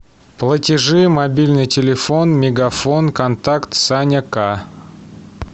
платежи мобильный телефон мегафон контакт саня к